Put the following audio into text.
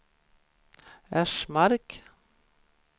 Ersmark